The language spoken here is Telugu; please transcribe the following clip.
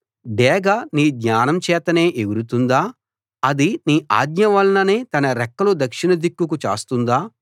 డేగ నీ జ్ఞానం చేతనే ఎగురుతుందా అది నీ ఆజ్ఞ వలననే తన రెక్కలు దక్షిణ దిక్కుకు చాస్తుందా